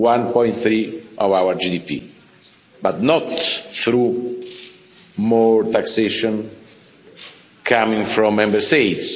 to 1.3 of our GDP, but not through more taxation coming from Member States.